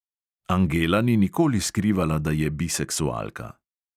Angela ni nikoli skrivala, da je biseksualka.